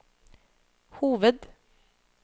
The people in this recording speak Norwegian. hoved